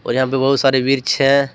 यहां पे बहोत सारे वृक्ष हैं।